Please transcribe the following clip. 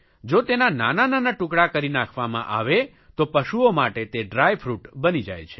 જો તેના નાના નાના ટુકડા કરી નાંખવામાં આવે તો પશુઓ માટે તે ડ્રાય ફ્રૂટ બની જાય છે